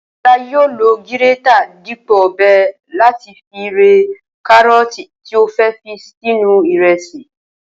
O̩lá yóò lo gírétà dípò ò̩be̩̩ láti fi re̩ káró̩ò̩tì tí ó fé̩ fi sínú ìre̩sì